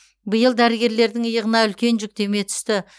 биыл дәрігерлердің иығына үлкен жүктеме түсті